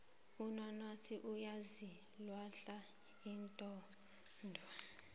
unanasi uyaziwahla inodo